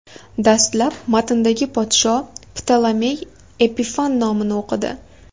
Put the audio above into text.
Dastlab matndagi podsho Ptolomey Epifan nomini o‘qidi.